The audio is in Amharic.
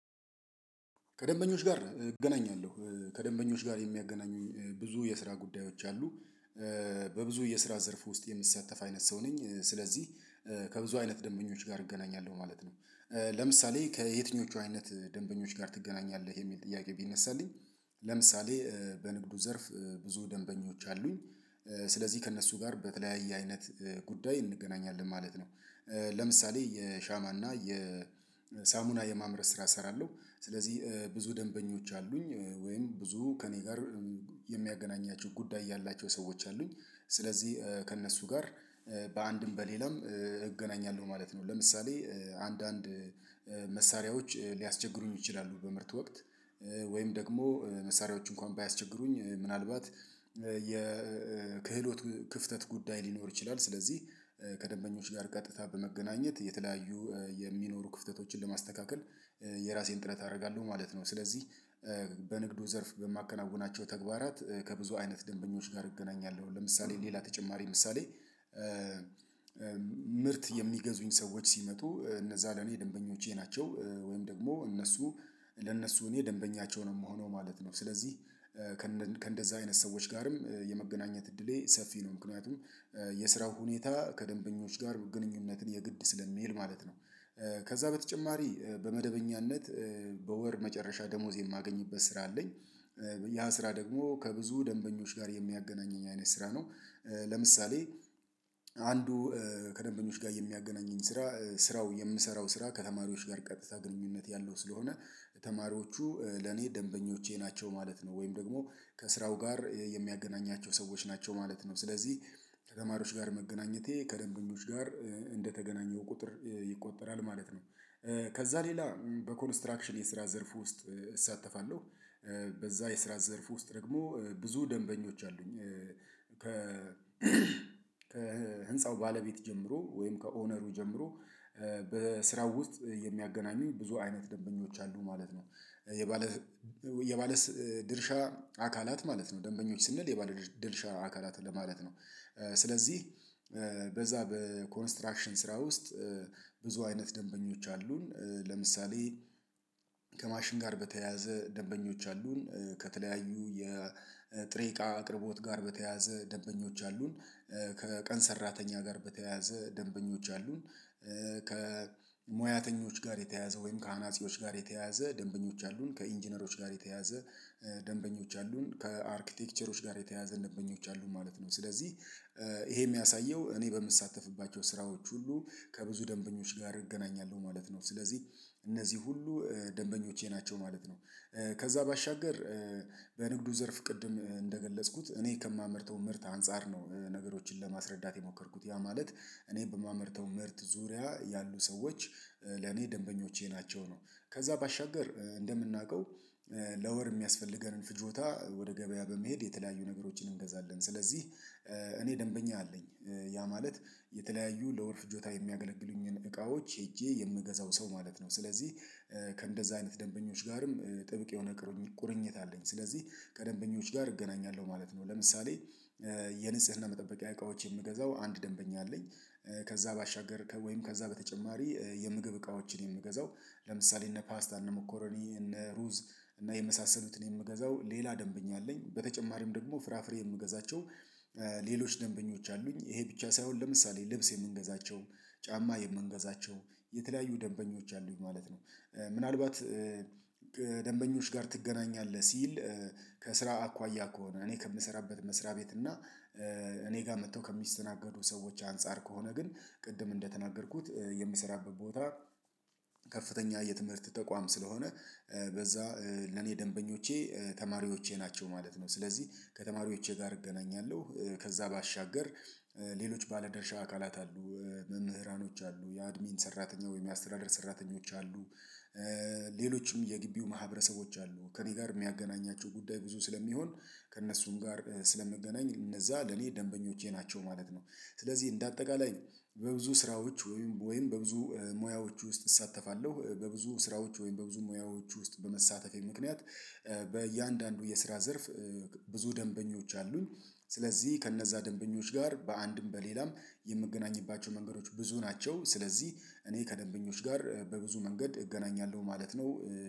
ከደንበኞች ጋር እገናኛለሁ ከደንበኞች ጋር የሚያገናኙኝ ብዙ የስራ ጉዳዮች አሉ። በብዙ የስራ ዘርፍ ውስጥ የምትሳተፍ አይነት ሰው ነኝ ስለዚህ ከብዙ አይነት ደንበኞች ጋር እገናኛለሁ ማለት ነው። ለምሳሌ ከየትኞቹ አይነት ደንበኞች ጋር ትገናኛለህ የሚል ጥያቄ ቢነሳልኝ። ለምሳሌ በንግዱ ዘርፍ ብዙ ደንበኞች አሉኝ። ስለዚህ ከእነሱ ጋር በተለያየ አይነት ጉዳይ እንገናኛለን ማለት ነው። ለምሳሌ የሻማና የሳሙና የማምረት ስራ እሰራለሁ። ስለዚህ ብዙ ደንበኞች አሉኝ ወይም ብዙ ከእኔ ጋር የሚያገናኛቸው ጉዳይ ያላቸው ሰዎች አሉኝ። ስለዚህ ከእነሱ ጋር በአንድም በሌላም እገናኛለሁ ማለት ነው። ለምሳሌ አንዳንድ መሳሪያዎች ሊያስቸግሩኝ ይችላሉ በምርት ወቅት ወይም ደግሞ መሳሪያዎች እንኳን ባያስቸግሩኝ ምናልባት የክህሎት ክፍተት ጉዳይ ሊኖር ይችላል። ስለዚህ ከደንበኞች ጋር ቀጥታ በመገናኘት የተለያዩ የሚኖሩ ክፍተቶችን ለማስተካከል የራሴን ጥረት አደርጋለሁ ማለት ነው። ስለዚህ በንግዱ ዘርፍ በማከናውናቸው ተግባራት ከብዙ አይነት ደንበኞች ጋር እገናኛለሁ። ለምሳሌ ሌላ ተጨማሪ ምሳሌ። ምርት የሚገዙኝ ሰዎች ሲመጡ እነዛ ለኔ ደንበኞቼ ናቸው። ወይም ደግሞ እነሱ ለእነሱ እኔ ደንበኛቸው ነው የምሆነው ማለት ነው። ስለዚህ ከእንደዚህ አይነት ሰዎች ጋርም የመገናኘት እድሌ ሰፊ ነው። ምክንያቱም የስራው ሁኔታ ከደንበኞች ጋር ግንኙነትን የግድ ስለሚል ማለት ነው። ከዛ በተጨማሪ በመደበኛነት በወር መጨረሻ ደሞዝ የማገኝበት ስራ አለኝ። ያ ስራ ደግሞ ከብዙ ደንበኞች ጋር የሚያገናኘኝ አይነት ስራ ነው። ለምሳሌ አንዱ ከደንበኞች ጋር የሚያገናኘኝ ስራ ስራው የምሰራው ስራ ከተማሪዎች ጋር ቀጥታ ግንኙነት ያለው ስለሆነ። ተማሪዎቹ ለኔ ደንበኞቼ ናቸው ማለት ነው። ወይም ደግሞ ከስራው ጋር የሚያገናኛቸው ሰዎች ናቸው ማለት ነው። ስለዚህ ከተማሪዎች ጋር መገናኘቴ ከደንበኞች እንደተገናኘው ቁጥር ይቆጠራል ማለት ነው። ከዛ ሌላ በኮንስትራክሽን የስራ ዘርፍ ውስጥ እሳተፋለሁ። በዛ የስራ ዘርፍ ውስጥ ደግሞ ብዙ ደንበኞች አሉኝ። ከ ከህንፃው ባለቤት ጀምሮ ወይም ከኦነሩ ጀምሮ በስራው ውስጥ የሚያገናኙኝ ብዙ አይነት ደንበኞች አሉ ማለት ነው። የባለ የባለ ድርሻ አካላት ማለት ነው ደንበኞች ስንል የባለድርሻ አካላት ለማለት ነው። ስለዚህ በዛ በኮንስትራክሽን ስራ ውስጥ ብዙ አይነት ደንበኞች አሉን። ለምሳሌ ከማሽን ጋር በተያያዘ ደንበኞች አሉን። ከተለያዩ የጥሬ እቃ አቅርቦት ጋር በተያያዘ ደንበኞች አሉን። ከቀን ሰራተኛ ጋር በተያያዘ ደንበኞች አሉን። ከሙያተኞች ጋር የተያያዘ ወይም ከአናጺዎች ጋር የተያያዘ ደንበኞች አሉን ከኢንጂነሮች ጋር የተያያዘ ደንበኞች አሉን ከአርክቴክቸሮች ጋር የተያያዘ ደንበኞች አሉን ማለት ነው። ስለዚህ ይሄ የሚያሳየው እኔ በምሳተፍባቸው ስራዎች ሁሉ ከብዙ ደንበኞች ጋር እገናኛለሁ ማለት ነው። ስለዚህ እነዚህ ሁሉ ደንበኞቼ ናቸው ማለት ነው። ከዛ ባሻገር በንግዱ ዘርፍ ቅድም እንደገለጽኩት እኔ ከማመርተው ምርት አንፃር ነው ነገሮችን ለማስረዳት የሞከርኩት ያ ማለት እኔ በማመርተው ምርት ዙሪያ ያሉ ሰዎች ለኔ ደንበኞቼ ናቸው ነው። ከዛ ባሻገር እንደምናውቀው ለወር የሚያስፈልገንን ፍጆታ ወደ ገበያ በመሄድ የተለያዩ ነገሮችን እንገዛለን። ስለዚህ እኔ ደንበኛ አለኝ ያ ማለት የተለያዩ ለወር ፍጆታ የሚያገለግሉኝን እቃዎች ሄጄ የምገዛው ሰው ማለት ነው። ስለዚህ ከእንደዛ አይነት ደንበኞች ጋርም ጥብቅ የሆነ ቁርኝት አለኝ ስለዚህ ከደንበኞች ጋር እገናኛለሁ ማለት ነው። ለምሳሌ የንጽህና መጠበቂያ እቃዎች የምገዛው አንድ ደንበኛ አለኝ። ከዛ ባሻገር ወይም ከዛ በተጨማሪ የምግብ እቃዎችን የምገዛው ለምሳሌ እነ ፓስታእነ መኮረኒ እነ ሩዝ እና የመሳሰሉትን የምገዛው ሌላ ደንበኛ አለኝ። በተጨማሪም ደግሞ ፍራፍሬ የምገዛቸው ሌሎች ደንበኞች አሉኝ። ይሄ ብቻ ሳይሆን ለምሳሌ ልብስ የምንገዛቸው ጫማ የምንገዛቸውም የተለያዩ ደንበኞች አሉኝ ማለት ነው። ምናልባት ደንበኞች ጋር ትገናኛለህ ሲል? ከስራ አኳያ ከሆነ እኔ ከምሰራበት መስሪያ ቤት እና እኔ ጋር መጥተው ከሚስተናገዱ ሰዎች አንፃር ከሆነ ግን ቅድም እንደተናገርኩት የምሰራበት ቦታ ከፍተኛ የትምህርት ተቋም ስለሆነ። በዛ ለኔ ደንበኞቼ ተማሪዎቼ ናቸው ማለት ነው። ስለዚህ ከተማሪዎቼ ጋር እገናኛለሁ። ከዛ ባሻገር ሌሎች ባለደርሻ አካላት አሉ። መምህራኖች አሉ የአድሚን ሰራተኛ ወይም የአስተዳደር ሰራተኞች አሉ። ሌሎችም የግቢው ማህበረሰቦች አሉ ከእኔ ጋር የሚያገናኛቸው ጉዳይ ብዙ ስለሚሆን ከእነሱም ጋር ስለምገናኝ እነዛ ለኔ ደንበኞቼ ናቸው ማለት ነው። ስለዚህ እንደ አጠቃላይ በብዙ ስራዎች ወይም በብዙ ሙያዎች ውስጥ እሳተፋለሁ። በብዙ ስራዎች ወይም በብዙ ሙያዎች ውስጥ በመሳተፌ ምክንያት። በእያንዳንዱ የስራ ዘርፍ ብዙ ደንበኞች አሉኝ። ስለዚህ ከእነዛ ደንበኞች ጋር በአንድም በሌላም የምገናኝባቸው መንገዶች ብዙ ናቸው። ስለዚህ እኔ ከደንበኞች ጋር በብዙ መንገድ እገናኛለሁ ማለት ነው።